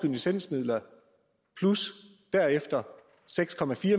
licensmidler plus derefter seks